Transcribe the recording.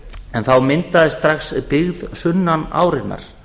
en þá myndaðist strax byggð sunnan árinnar